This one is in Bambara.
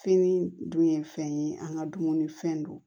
Fini dun ye fɛn ye an ka dumunifɛn dun